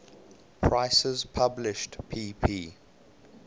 prices published pp